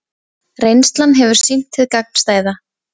Reynslan hefur sýnt hið gagnstæða